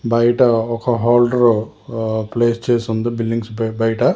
బయట ఒక holder place చేసి ఉంది బిల్డింగ్స్ పై బయట.